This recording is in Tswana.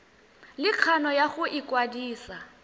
le kgano ya go ikwadisa